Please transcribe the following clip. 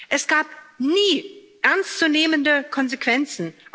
Es gab nie ernst zu nehmende Konsequenzen.